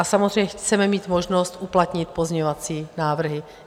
A samozřejmě chceme mít možnost uplatnit pozměňovací návrhy.